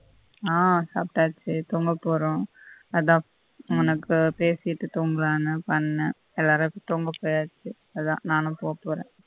ஆஹ் சாப்டாச்சு தூங்க போறோம் அதான் உம் உனக்கு பேசிட்டு தூங்கலாம்னு பண்ணேன் எல்லாரும் தூங்க போயாச்சு அதான் நானும் போப்போற